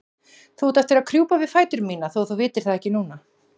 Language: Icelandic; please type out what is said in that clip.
Þú átt eftir að krjúpa við fætur mína þótt þú vitir það ekki núna.